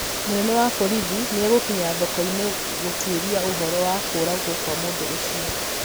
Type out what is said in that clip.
Mũnene wa borithi nĩ egũkinya thoko-inĩ gũtuĩria ũhoro wa kũũragwo kwa mũndu ũcio.